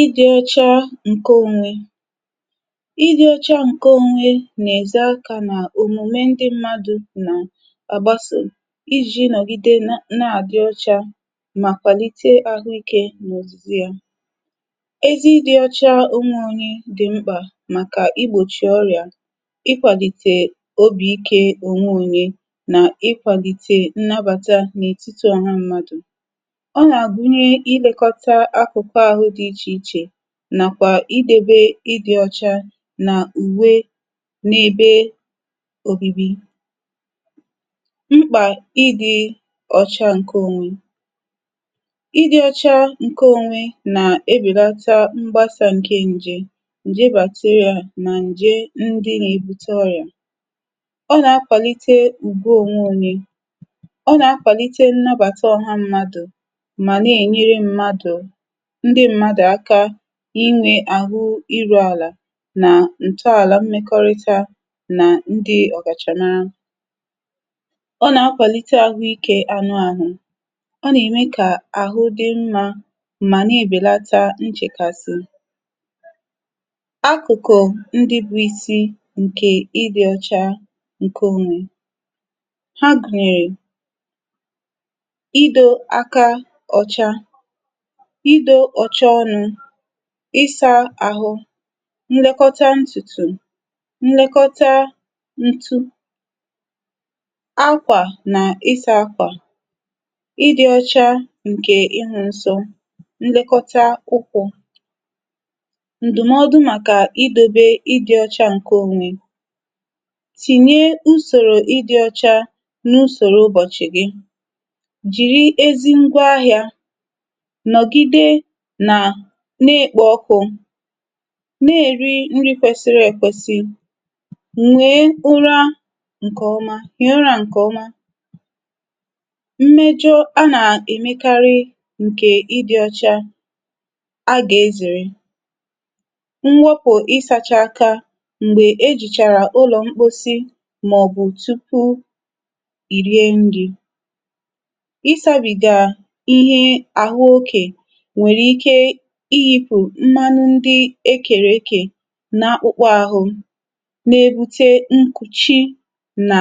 Ị dị ọcha nke onwe: ị dị ọcha nke onwe na-eze aka na omume ndị mmadụ na-agbaso i ji nọgide n na-adị ọcha ma kwalite ahụike na ozuzu ya. Ézí ị dị ọcha onwe onye dị mkpa maka i gbochi orịa, ị kwalite obi ike onwe onye na ị kwalite nnabata n'etiti ọha mmadụ. Ọ na-agụnye ilekọta akụkụ ahụ́ dị iche iche, na kwa ị debe ị dị rọcha na iwe n'ebe obibi. Mkpa ị dị ọcha nke onwe: ị dị ọcha nke onwe na-ebelata mgbasa nke nje nje bacteria na nje ndị na-ebute ọrịa, ọ na-akwalite ugwu onwe onye, ọ na-akwalite nnabata ọha mmadụ ma na-enyere mmadụ ndị mmadụ aka i nwe ahụ iruala na ntọala mmekọrịta na ndị ọ kacha mara. ọ na-akwalite ahụ ike anụ ahụ, ọ na-eme ka ahụ dị mma ma na-ebelata nchekasị. Akụkụ ndị bụ isi nke ị dị ọcha nke onwe Ha gụnyere: i do aka ọcha, i do ọcha ọ́nụ́, ị sa ahụ, nlekọta ntutu, nkekọta ntu akwa na ị sa akwa, ị́ dị ọcha nke ị hụ nsọ, nlekọta ụkwụ. Ndụmọdụ maka i dobe ịdị ọcha nke onwe Tinye usoro ị dị ọcha n'usoro ụ́bọ́chị gị. Jiri ezi ngwa ahịa, nọgide na na-ekpo ọkụ, na-eri nri kwesịrị ekwesị, nwee ụra ǹkè ọma hie ụra ǹkè ọma. Mmejọ a nà-èmekarị ǹkè ịdị ọcha agà ezèrè: mwepụ ịsacha aka m̀gbè e jìchàrà ụlọ̀ mposi màọ̀bụ̀ tupuu i rie nrị̇, ịsȧbìgà ihe àhụ okè nwere ike ihi̇pù mmánụ́ ndi ekèrèkè na akpụ̇kpọ̇ ȧhụ̇ na-ebute nkùchi na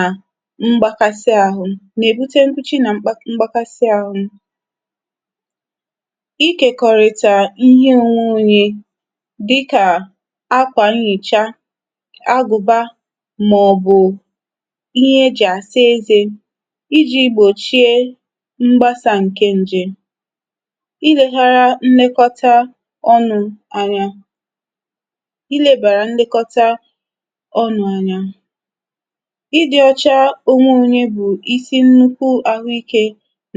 mgbakasi ȧhụ̇ na-èbute nkùchi na na mgbakasi ȧhụ̇, ị kèkọ̀rị̀tà ihe onwe onye dịkà akwà nhicha, agụ̀ba mà ọ̀bụ̀ ihe e jì àsa ezė i ji̇ gbòchie mgbasa ǹke ǹjè, i leghara ǹlekọta ọnụ anya i lebara nlekọta ọnụ anya. ịdị̇ ọcha onwe onye bụ̀ isi nnukwu ahụike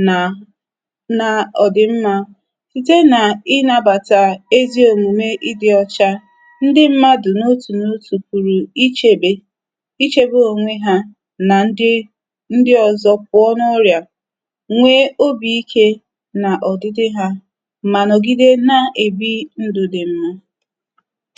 nà nà ọ dị̀ mmȧ site nà ịnȧbàtà ezi òmùme ịdị̇ ọcha. Ndị mmadụ̀ n’otù n'otù pùrù ichėbè ichėbè onwe ha nà ndị ndị ọ̀zọ pụọ n’ọrịà nwee obi̇ ike nà ọdịdị ha, ma nọgide na-ebi ndụ dị mma.